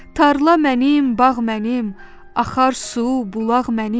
Tarla mənim, bağ mənim, axar su, bulaq mənim.